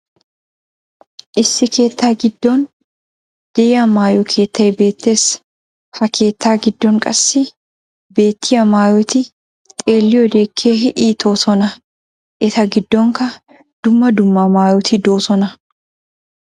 issi keettaa giddon diya maayo keettay beetees. ha keettaa giddon qassi beettiya maaayotti xeelliyode keehi iitoosona. eta giddonkka dumma dumma maayoti doosona.